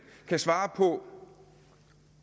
kan svare på